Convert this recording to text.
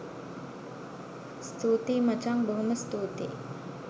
ස්තුතියි මචං බොහොම ස්තූතියි